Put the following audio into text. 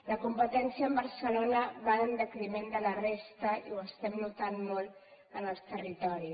la competència amb barcelona va en detriment de la resta i ho estem notant molt al territori